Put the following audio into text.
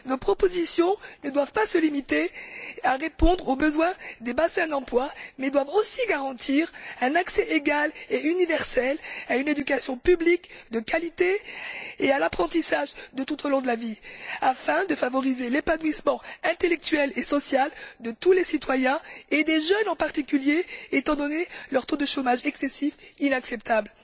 Nos propositions ne doivent pas se limiter à répondre aux besoins des bassins d'emplois mais doivent aussi garantir un accès égal et universel à une éducation publique de qualité et à l'apprentissage tout au long de la vie, afin de favoriser l'épanouissement intellectuel et social de tous les citoyens, et des jeunes en particulier, étant donné leur taux de chômage excessif inacceptable.